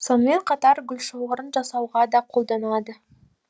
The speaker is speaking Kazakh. сонымен қатар гүлшоғырын жасауға да қолданады